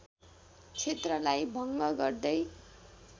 क्षेत्रलाई भङ्ग गर्दै